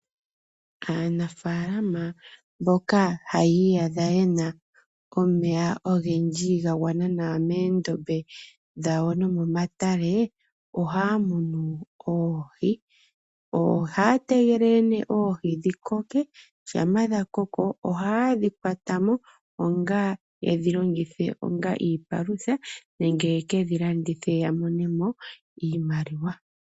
Aanafaalama mboka hayi iyadha yena omeya ogendji ga gwana nawa moondombe dhawo nomomatale, ohaa munu oohi, ohaa tegelele nee oohi dhi koke, shampa dha koko ohaye dhi kwatamo, yedhilongithe onga iipalutha, nenge ye kedhi landithe ya mone mo iimaliwa.